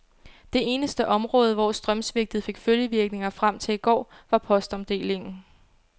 Det eneste område, hvor strømsvigtet fik følgevirkninger frem til i går, var postomdelingen.